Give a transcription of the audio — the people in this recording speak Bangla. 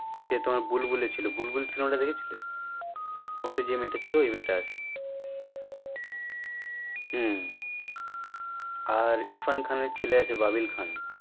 সে তোমার বুলবুল cinema টা ছিল দেখেছো বুলবুল সিনেমাটা ওতে যে মেয়ে ছিল ওই মেয়ে আছে হম আর ইরফান খানের ছেলে আছে ববিন খান